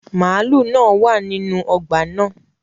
Màlúù náà wà nínú ọgbà náà